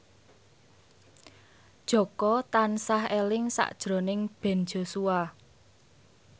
Jaka tansah eling sakjroning Ben Joshua